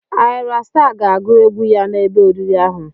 Ayra Staa ga-agụ egwu ya n'ebe oriri ahụ.